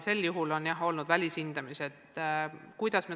Sel juhul on olnud välishindamised.